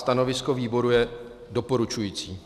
Stanovisko výboru je doporučující.